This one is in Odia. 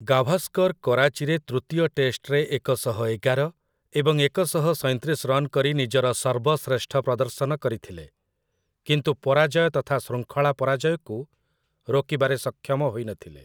ଗାଭାସ୍କର୍ କରାଚିରେ ତୃତୀୟ ଟେଷ୍ଟରେ ଏକଶହ ଏଗାର ଏବଂ ଏକଶହ ସଇଁତିରିଶ ରନ୍ କରି ନିଜର ସର୍ବଶ୍ରେଷ୍ଠ ପ୍ରଦର୍ଶନ କରିଥିଲେ, କିନ୍ତୁ ପରାଜୟ ତଥା ଶୃଙ୍ଖଳା ପରାଜୟକୁ ରୋକିବାରେ ସକ୍ଷମ ହୋଇନଥିଲେ ।